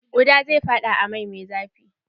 Kuɗa zai faɗa a mai me zafi.